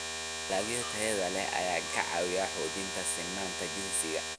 Dalagga tayada leh ayaa ka caawiya xoojinta sinnaanta jinsiga.